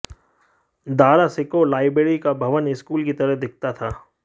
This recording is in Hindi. दारा शिकोह लाइब्रेरी का भवन स्कूल की तरह दिखता था